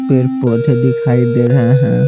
पर पौधे दिखाई दे रहे हैं।